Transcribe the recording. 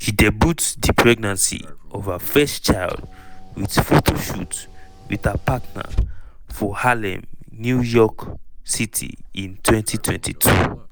she debut di pregnancy of her first child wit photoshoot wit her partner for harlem new york city in 2022.